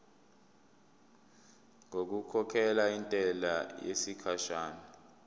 ngokukhokhela intela yesikhashana